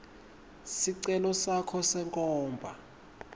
sicelo sakho senkhomba